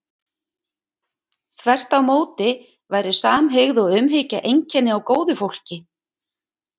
þvert á móti væru samhygð og umhyggja einkenni á góðu fólki